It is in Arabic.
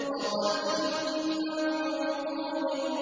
وَطَلْحٍ مَّنضُودٍ